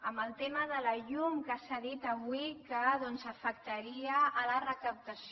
en el tema de la llum que s’ha dit avui que doncs afectaria la recaptació